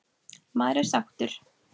Maður er sáttur.